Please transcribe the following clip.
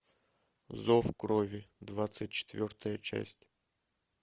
зов крови двадцать четвертая часть